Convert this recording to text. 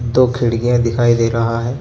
दो खिड़किया दिखाई दे रहा हे.